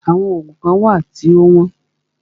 Àwọn oògùn kán wà tí o wọ́n.